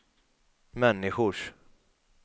människors